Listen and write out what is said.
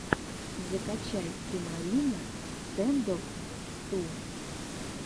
закачай тимарина стэндофф ту